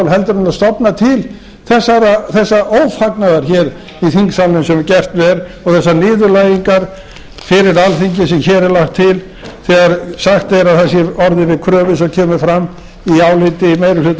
heldur en stofna til þessa ófarnaðar í þingsalnum sem gekk vel og þessarar niðurlægingar fyrir alþingi sem hér er lagt til þegar sagt er að hér sé orðið við kröfu sem kemur fram í áliti meiri hluta